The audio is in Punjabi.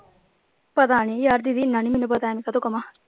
ਪਤਾ ਨੀ ਯਾਰ ਦੀਦੀ ਏਨਾ ਨਹੀਂ ਮੈਨੂੰ ਪਤਾ ਐਵੇਂ ਕਾਹਤੋਂ ਕਵਾਂ।